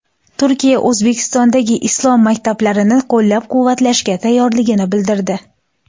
Turkiya O‘zbekistondagi islom maktablarini qo‘llab-quvvatlashga tayyorligini bildirdi.